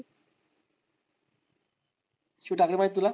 शिव ठाकरे माहितेय तुला?